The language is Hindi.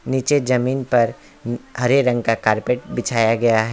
नीचे जमीन पर हरे रंग का कारपेट बिछाया गया है।